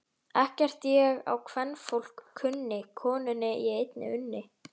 Ekkert ég á kvenfólk kunni, konunni ég einni unni.